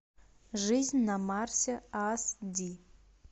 жизнь на марсе ас ди